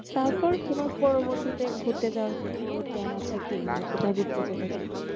তোমার পরবর্তীতে ঘুরতে যাওয়ার কোনো plan আছে কি না